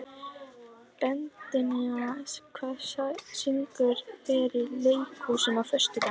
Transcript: Betanía, hvaða sýningar eru í leikhúsinu á föstudaginn?